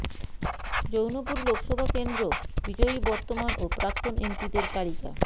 জৌনপুর লোকসভা কেন্দ্র বিজয়ী বর্তমান ও প্রাক্তন এমপিদের তালিকা